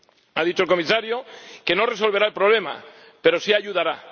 Ha dicho el Comisario que no resolverá el problema, pero sí ayudará.